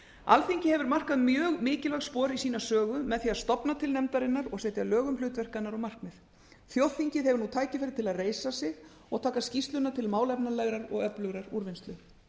alþingi hefur markað mjög mikilvæg spor í sína sögu með því að stofna til nefndarinnar og setja lög um hlutverk hennar og markmið þjóðþingið hefur tækifæri til að reisa sig og taka skýrsluna til málefnalegrar og öflugrar úrvinnslu